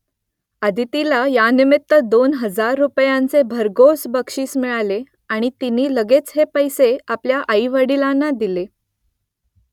अदितीला यानिमित्त दोन हजार रुपयांचे भरघोस बक्षीस मिळाले आणि तिने लगेच हे पैसे आपल्या आईवडिलांना दिले